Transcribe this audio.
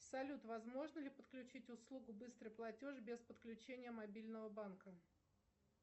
салют возможно ли подключить услугу быстрый платеж без подключения мобильного банка